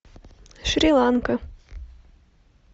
шри ланка